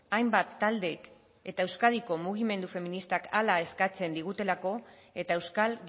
hainbat taldek eta euskadiko mugimendu feministak hala eskatzen digutelako eta euskal